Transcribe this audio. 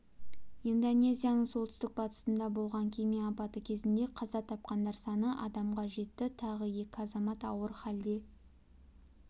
индонезияның солтүстік-батысында болған кеме апаты кезінде қаза тапқандар саны адамға жетті тағы екі азамат ауыр халде